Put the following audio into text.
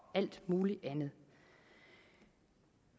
alt muligt andet